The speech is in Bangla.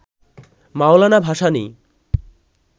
মওলানা ভাসানী